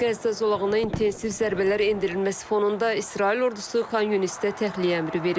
Qəzza zolağına intensiv zərbələr endirilməsi fonunda İsrail ordusu Xamasda təxliyə əmri verib.